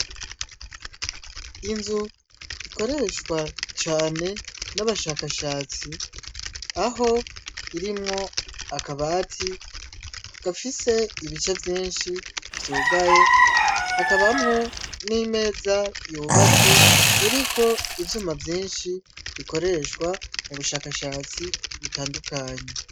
Inzu ikoreshwa cane n'abashakashatsi aho irimwo akabati gafise ibica vyinshi vyugaye hakabamwo n'imeza yubatse iriko ivyuma vyinshi bikoreshwa wa mu bushakashatsi bitandukanyi.